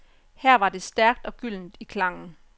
Her var det stærkt og gyldent i klangen.